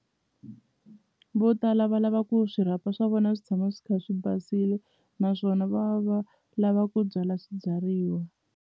Vo tala va lava ku swirhapa swa vona swi tshama swi kha swi basile naswona va va lava ku byala swibyariwa.